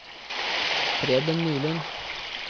Preben Nylund